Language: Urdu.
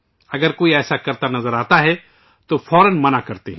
اگر انہیں کوئی ایسا کرتے ہوئے نظر آتا ہے تو اُسے فوراً منع کرتے ہیں